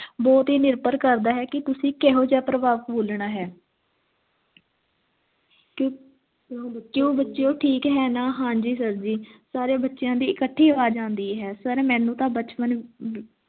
ਤੇ ਨਿਰਭਰ ਕਰਦਾ ਹੈ ਕੀ ਤੁਸੀਂ ਕਿਹੋ ਜੇਹਾ ਪਰਭਾਵਕ ਬੋਲਣਾ ਹੈਂ ਕੀ ਕਿਉਂ ਬੱਚਿਓ ਕਿਉਂ ਬੱਚਿਓ ਠੀਕ ਹੈ ਨਾ ਹਾਂ ਜੀ sir ਜੀ ਸਾਰਿਆਂ ਬੱਚਿਆਂ ਦੀ ਇਕੱਠੀ ਆਵਾਜ਼ ਆਉਂਦੀ ਹੈ sir ਮੈਨੂੰ ਤਾਂ ਬਚਪਨ